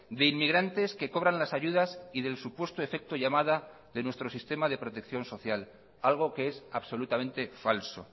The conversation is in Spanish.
de inmigrantes que cobran las ayudas y del supuesto efecto llamada de nuestro sistema de protección social algo que es absolutamente falso